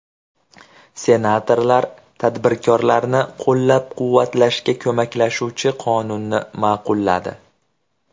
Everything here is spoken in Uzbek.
Senatorlar tadbirkorlarni qo‘llab-quvvatlashga ko‘maklashuvchi qonunni ma’qulladi.